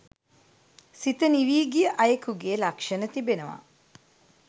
සිත නිවි ගිය අයෙකුගේ ලක්ෂන තිබෙනවා